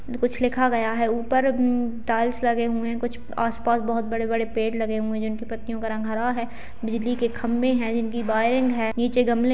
कुछ लिखा गया है ऊपर हम्म टाइल्स लगे हुए हैं कुछ अ आस-पास कुछ बहोत बड़े-बड़े पेड़ लगे हुए हैं जिन की पत्तियों का रंग हरा है। बिजली के खम्बे हैं जिन की वायरिंग है। नीचे गमले --